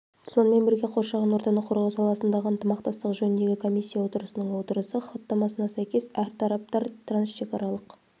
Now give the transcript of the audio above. сонымен бірге қоршаған ортаны қорғау саласындағы ынтымақтастық жөніндегі комиссия отырысының отырысы хаттамасына сәйкес әр тараптар трансшекаралық